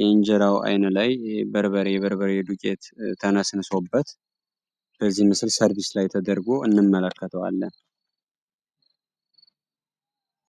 የእንጀራው አይን ላይ በርበሬ ዱቄት ተነስንሶበት በዚህ ምስል ሰርቢስ ላይ ተደርጎ እንመለከተዋለን።